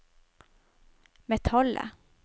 metallet